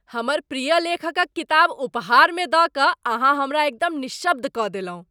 हमर प्रिय लेखकक किताब उपहारमे दऽ कऽ अहाँ हमरा एकदम निःशब्द कऽ देलहुँ।